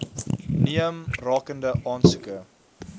neem rakende aansoeke